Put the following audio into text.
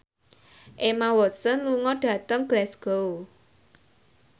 Emma Watson lunga dhateng Glasgow